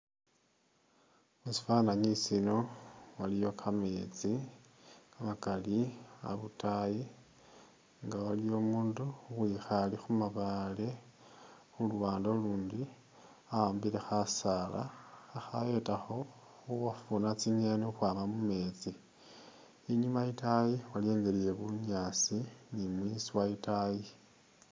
Musifananyi siino waliyo kameetsi kamakali habutayi nga waliyo umundu uwikhale khu mabaale khu luwande ulundi ahambile khasaala khakhayetakho khufuna tsingeni khukwama mumetsi inyuma yitayi waliyo ingeli ye bunyaasi ni mwiswa itayi.